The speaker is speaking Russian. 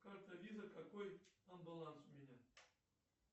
карта виза какой там баланс у меня